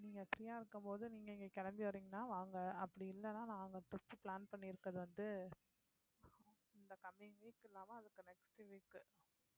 நீங்க free ஆ இருக்கும்போது நீங்க இங்க கிளம்பி வர்றீங்கன்னா வாங்க அப்படி இல்லைன்னா நான் உங்களை திருச்சி plan பண்ணி இருக்கிறது வந்து இந்த coming week இல்லாம அதுக்கு next week உ